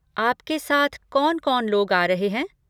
आपके साथ कौन कौन लोग आ रहे हैं?